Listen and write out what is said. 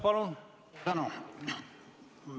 Tänan!